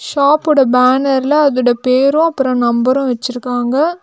ஷாப்போட பேனர்ல அதோட பேரு அப்பரோ நம்பரு வெச்சிருக்காங்க.